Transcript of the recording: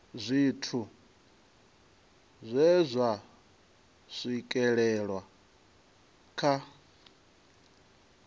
zwithu zwe zwa swikelelwa kha